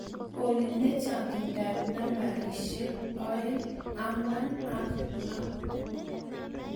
Olly nee chaanginta ab nambarishek oeing angwan ak lo